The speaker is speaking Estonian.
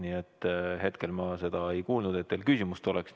Nii et hetkel ma seda ei kuulnud, et teil küsimust oleks.